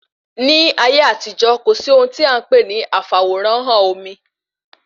Ní ayé àtijó, kò sí ohun tí a npè ní afaworanhan omi